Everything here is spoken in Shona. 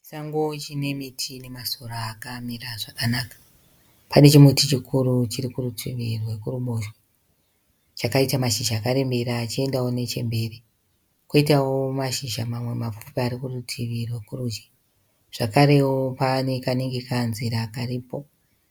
Chisango chine miti nemasora akamira zvakanaka. Pane chimuti chikuru chiri kurutivi rwekuruboshwe, chakaita mashizha akarembera achiendawo nechemberi. Koitawo mashizha mamwe mapfupi ari kurutivi rwokurudyi. Zvakarevo pane kanenge kanzira karipo,